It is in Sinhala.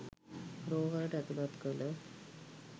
රෝහලට ඇතුලත් කළ